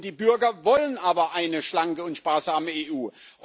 Die Bürger wollen aber eine schlanke und sparsame EU.